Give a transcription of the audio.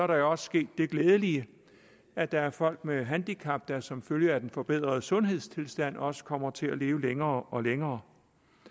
der også sket det glædelige at der er folk med handicap der som følge af den forbedrede sundhedstilstand også kommer til at leve længere og længere